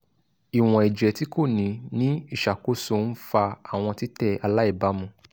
iwọn ẹjẹ ti ko ni ni iṣakoso nfa awọn titẹ alaibamu